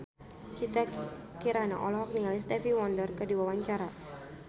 Citra Kirana olohok ningali Stevie Wonder keur diwawancara